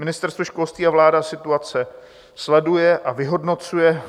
Ministerstvo školství a vláda situaci sleduje a vyhodnocuje.